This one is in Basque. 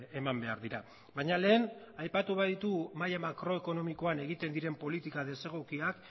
eman behar dira baina lehen aipatu ba ditugu maila makroekonomikoan egiten diren politika desegokiak